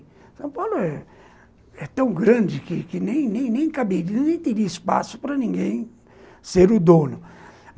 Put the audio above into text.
São Paulo é, é tão grande que que nem nem caberia, nem teria espaço para ninguém ser o dono.